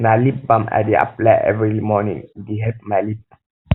na lip balm i dey apply for lips every morning e dey help my lips